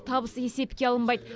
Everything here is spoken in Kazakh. табыс есепке алынбайды